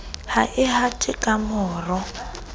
ha e hate ka maro